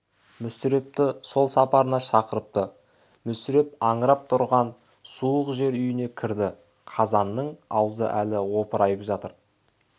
мүсірепті сол сапарына шақырыпты мүсіреп аңырап тұрған суық жер үйіне кірді қазанның аузы әлі опырайып жатыр